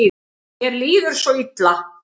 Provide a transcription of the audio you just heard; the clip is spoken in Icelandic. Mér líður svo illa.